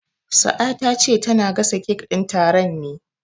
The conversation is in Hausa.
Sa'a ta ce tana gasa kek din taron ne.